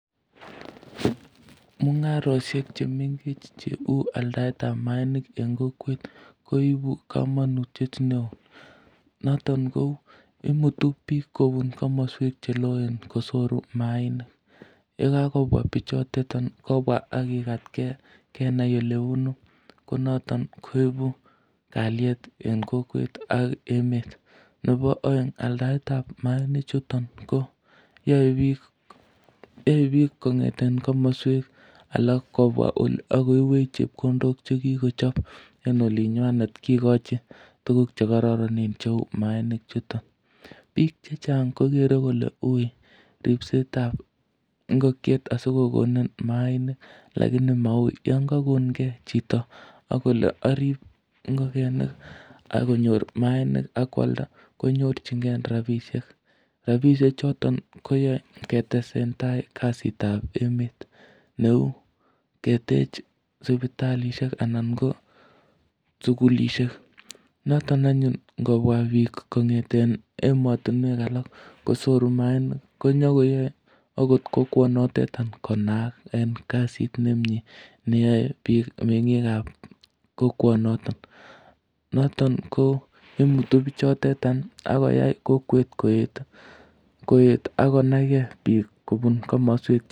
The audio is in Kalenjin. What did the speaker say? Mung'aroshek che mengech cheu aldaet ap maainik en kokwet koipu kamanutiet neo. Noton ko imuti piik kopun komaswek che loen ko sore maainik. Ye kakopwa pichotetan kopwa ak kikatkei kenai ole punu. Ko noton koipun kalyet rn kokwet ak emet. Nepo aeng' aldaetap maanichuton ko yae piik kong'eten komaswek alak kopwa akoipwech chepkondok che kokochap en olinywanet, kikachin tuguk che kararanen che maanichuton. Piik che chang' kokere kole ui ripset ap ngokiet asi kokonin maainik lakiji ma ui. Yan kakongei chito ak kole aripe ngokenik ak konyor maainik ak koalda konyorchingei rapishek. Rapisheton koyarn ketesetai kasit ap emet ne u ketech sipitalishek anan ko sukulishek. Notok anyun ngopwa piik kong'eten ematunwek alak kosoru maainik konyuko yae akot kokwenotetan konaak en kasit nemye neyae piik, meng'iik ap kokwanoton. Noton ko imutu pichotetan ak koyai kokwet koeet ako nai gei piik kopun komaswek che terchin.